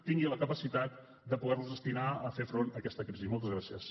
tingui la capacitat de poder los destinar a fer front a aquesta crisi moltes gràcies